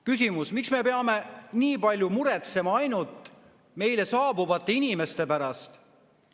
Küsimus: miks me peame nii palju muretsema ainult meile saabuvate inimeste pärast?